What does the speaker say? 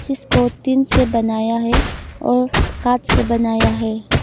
जिसको टीन से बनाया है और काठ से बनाया है।